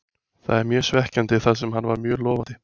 Það er mjög svekkjandi þar sem hann var mjög lofandi.